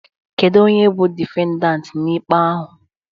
Kedu onye bụ difendant n'ikpe ahụ?